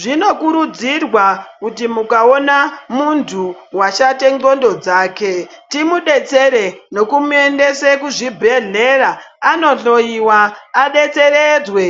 Zvinokurudzirwa kuti mukaona muntu vashate ndxondo dzake. Timubetsere nekumuendesa kuzvibhedhlera anohloiwa. Abetseredzwe